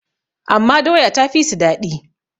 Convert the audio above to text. amma doya ta fi su daɗi